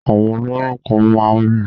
Àwọn olóyún kan máa ń bì